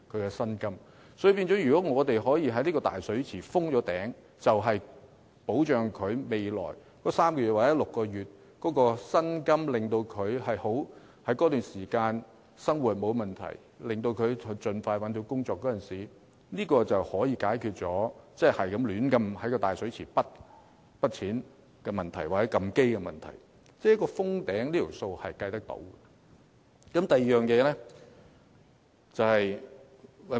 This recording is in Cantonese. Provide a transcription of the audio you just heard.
因此，如果我們可以為這個"大水池"封頂，讓失業的員工在未來3個月或6個月的生活得到保障，依靠這筆錢令生活不成問題，從而盡快找到新工作，便可解決任意取之於"大水池"或隨意"提款"的問題，因為"封頂"的金額是有數得計的。